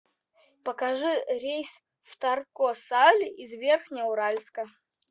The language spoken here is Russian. покажи рейс в тарко сале из верхнеуральска